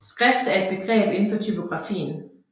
Skrift er et begreb inden for typografien